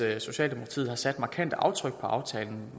at socialdemokratiet har sat markante aftryk på aftalen